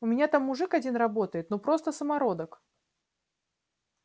у меня там мужик один работает ну просто самородок